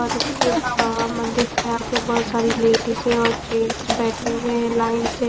और उसके आ मंदिर के आगे बहोत सारी लेडिजे और जेंट्स बैठे हुए हैं लाइन से--